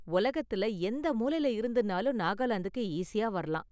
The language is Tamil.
உலகத்துல எந்த மூலைல இருந்துனாலும் நாகாலாந்துக்கு ஈஸியா வரலாம்.